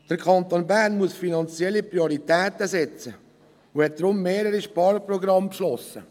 Der Kanton Bern muss finanzielle Prioritäten setzen und hat deshalb mehrere Sparprogramme beschlossen.